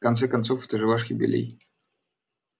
в конце концов это же ваш юбилей